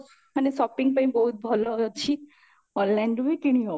ମାନେ shopping ପାଇଁ ବାହୁଟି ଭଲ ଅଛି online ରୁ ବି କିଣି ହବ